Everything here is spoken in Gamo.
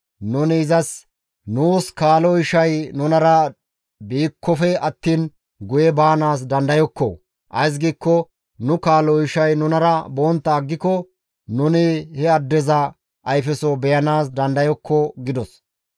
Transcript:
Nuni izas, ‹Nuus kaalo ishay nunara biikkofe attiin guye baanaas dandayokko; ays giikko nu kaalo ishay nunara bontta gidikko nuni he addeza ayfeso beyanaas dandayokko› gidos.